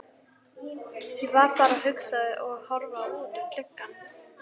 Ég var bara að hugsa og horfa út um gluggann.